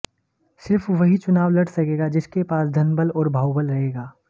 सिर्फ वही चुनाव लड़ सकेगा जिसके पास धनबल और बाहुबल रहेगा